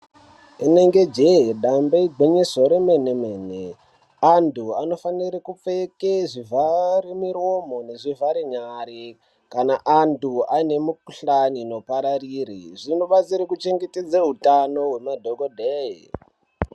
Inenge jee damba igwinyiso remene mene antu anofana kupfeke zvivhare miromo ngezvivhare nyara kana antu anemikuhlani inopararire zvinochengetedza hutano wemadhokodheya.